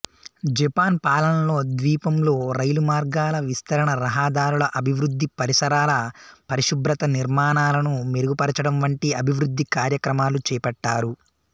Japan పాలనలో ద్వీపంలో రైలుమార్గాల విస్తరణ రహదారుల అభివృద్ధి పరిసరాల పరిశుభ్రత నిర్మాణాలను మెరుగుపరచడం వంటి అభివృద్ధి కార్యక్రమాలు చేపట్టారు